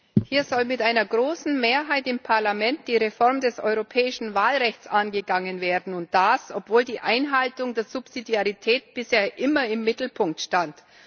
Frau Präsidentin! Hier soll mit einer großen Mehrheit im Parlament die Reform des europäischen Wahlrechts angegangen werden, und das, obwohl die Einhaltung des Subsidiarität bisher immer im Mittelpunkt stand.